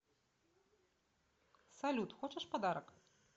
салют хочешь подарок